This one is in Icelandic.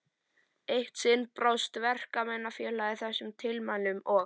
Eitt sinn brást Verkakvennafélagið þessum tilmælum og